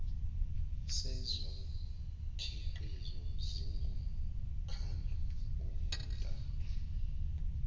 sezokhiqizo singumkhandlu onxantathu